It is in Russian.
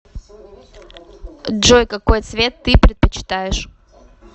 джой какой цвет ты предпочитаешь